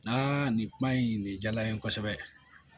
Naa nin kuma in nin jara n ye kosɛbɛ